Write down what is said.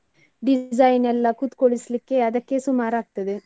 Design ಎಲ್ಲಾ ಕೂತ್ಕೊಳ್ಳಿಸ್ಲಿಕ್ಕೆ ಅದಕ್ಕೆ ಸುಮಾರಾಗ್ತದೆ.